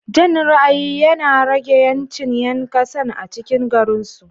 Jan ra ayi yinarage yancin yankasan a cikin garinsu